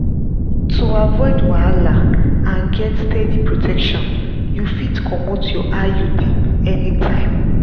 to avoid wahala and get steady protection you fit comot your iud anytime.